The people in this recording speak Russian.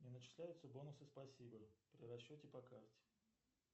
не начисляются бонусы спасибо при расчете по карте